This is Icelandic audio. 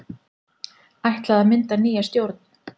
Ætlað að mynda nýja stjórn